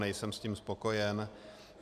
Nejsem s tím spokojen.